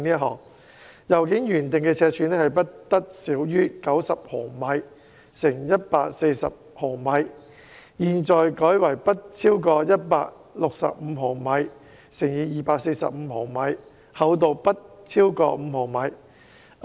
信件原訂的尺寸不得小於90毫米乘以140毫米，現在改為不超過165毫米乘以245毫米，厚度不超過5毫米。